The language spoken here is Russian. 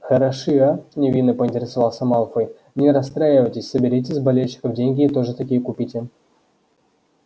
хороши а невинно поинтересовался малфой не расстраивайтесь соберите с болельщиков деньги и тоже такие купите